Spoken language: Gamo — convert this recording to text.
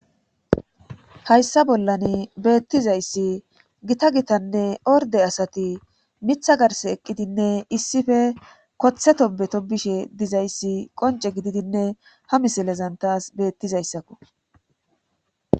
Hayssa bollan beettizayssi gita gitanne orde asati mitha garse eqqidinne issife koththe to beto bishe dizayssi qonce gididinne ha misilezantas beettizayssakko.